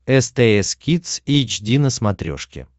стс кидс эйч ди на смотрешке